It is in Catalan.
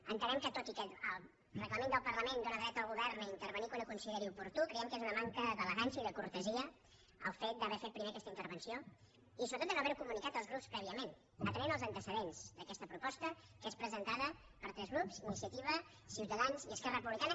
entenem que tot i que el reglament del parlament dóna dret al govern a intervenir quan ho consideri oportú creiem que és una manca d’elegància i de cortesia el fet d’haver fet primer aquesta intervenció i sobretot de no haver ho comunicat als grups prèviament atenent als antecedents d’aquesta proposta que és presentada per tres grups iniciativa ciutadans i esquerra republicana